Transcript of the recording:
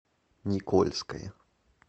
никольское